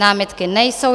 Námitky nejsou.